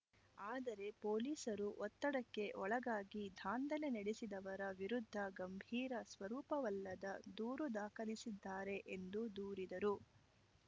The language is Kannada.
ಆದರೆ ಪೊಲೀಸರು ಒತ್ತಡಕ್ಕೆ ಒಳಗಾಗಿ ದಾಂಧಲೆ ನಡೆಸಿದವರ ವಿರುದ್ಧ ಗಂಭೀರ ಸ್ವರೂಪವಲ್ಲದ ದೂರು ದಾಖಲಿಸಿದ್ದಾರೆ ಎಂದು ದೂರಿದರು